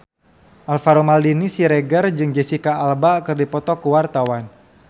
Alvaro Maldini Siregar jeung Jesicca Alba keur dipoto ku wartawan